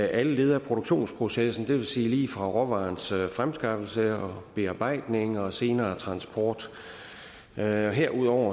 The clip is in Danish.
alle leder af produktionsprocessen og det vil sige lige fra råvarens fremskaffelse og bearbejdning og senere transport herudover